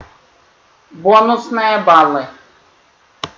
бонусные баллы